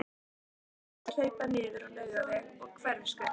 Ég þurfti oft að hlaupa niður á Laugaveg og Hverfisgötu.